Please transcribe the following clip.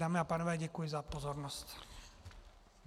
Dámy a pánové, děkuji za pozornost.